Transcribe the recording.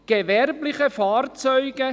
«gewerblich[e] […